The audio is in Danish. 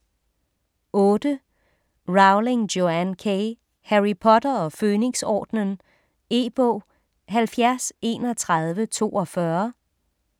8. Rowling, Joanne K.: Harry Potter og Fønixordenen E-bog 703142